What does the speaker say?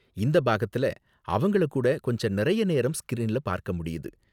இந்த பாகத்துல அவங்கள கூட கொஞ்ச நிறைய நேரம் ஸ்கிரீன்ல பார்க்க முடியுது.